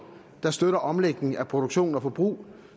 der støtter en omlægning af produktion og forbrug